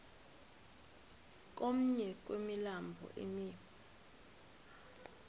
komnye wemilambo emi